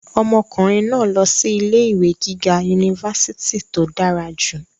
ọmọkùnrin náà lọ sí ilé ìwé gíga unifásitì tó dára jù